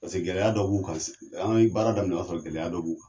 Paseke gɛlɛya dɔ b'u kan se an ye baara daminɛ o y'a sɔrɔ gɛlɛya dɔ b'u kan